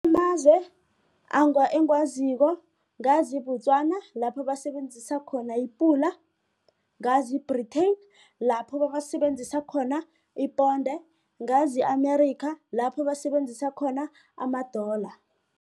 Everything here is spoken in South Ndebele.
Amazwe engiwaziko ngazi i-Botswana lapho basebenzisa khona i-pula, ngazi i-Britain lapho basebenzisa khona iponde, ngazi i-Amerika lapho basebenzisa khona ama-dollar.